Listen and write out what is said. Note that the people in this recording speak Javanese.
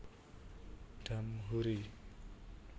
Damhoeri